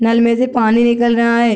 नल में से पानी निकल रहा है।